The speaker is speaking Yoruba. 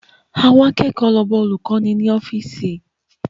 Àwọn akẹ́kọ̀ọ́ lọ bá olùkọ́ni ní ọ́fíìsì